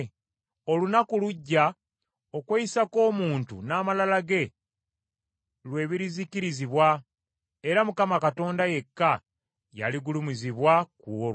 Olunaku lujja okweyisa kw’omuntu n’amalala ge lwe birizikirizibwa, era Mukama Katonda yekka yaligulumizibwa ku olwo.